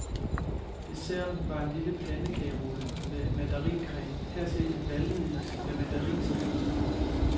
Desserten var en lille pandekagerulle med madarincreme, hertil en valnøddeis med mandarinsalat.